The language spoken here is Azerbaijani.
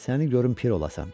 Səni görüm pir olasan.